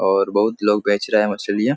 और बहुत लोग बेच रहें हैं मछलियाँ।